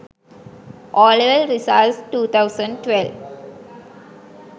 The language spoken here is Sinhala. OL results 2012